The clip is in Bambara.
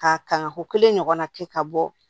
Ka kanka ko kelen ɲɔgɔnna kɛ ka bɔ